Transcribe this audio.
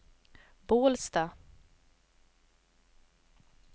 Bålsta